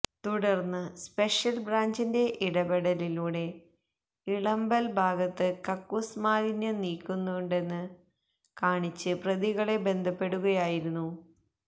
തുടർന്ന് സ്പെഷ്യൽ ബ്രാഞ്ചിന്റെ ഇടപെടലിലൂടെ ഇളമ്പൽ ഭാഗത്ത് കക്കൂസ് മാലിന്യം നീക്കാനുണ്ടെന്ന് കാണിച്ച് പ്രതികളെ ബന്ധപ്പെടുകയായിരുന്നു